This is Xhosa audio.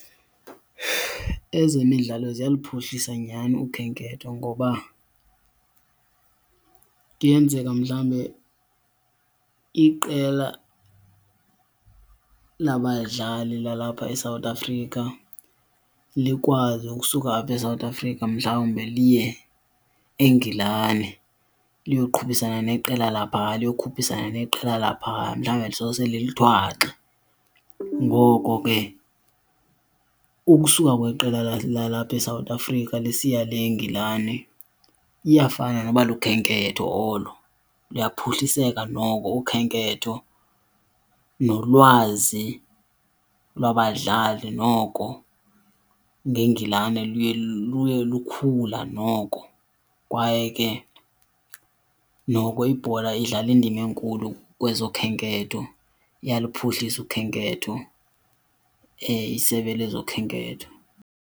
Ezemidlalo ziyaluphuhlisa nyhani ukhenketho ngoba kuyenzeka mhlambe iqela labadlali lalapha eSouth Africa likwazi ukusuka apha eSouth Africa mhlawumbe liye eNgilani, liyoqhubisana neqela laphaa, liyokhuphisana neqela laphaa, mhlawumbe lisose lilithwaxe. Ngoko ke ukusuka kweqela lalapha eSouth Africa lisiya le eNgilani iyafana noba lukhenketho olo, luyaphuhliseke noko ukhenketho, nolwazi labadlali noko ngeNgilane luye luye lukhula noko. Kwaye ke noko ibhola idlala indima enkulu kwezokhenketho, iyaluphuhlisa ukhenketho, isebe lezokhenketho.